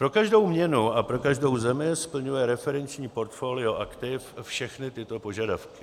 Pro každou měnu a pro každou zemi splňuje referenční portfolio aktiv všechny tyto požadavky: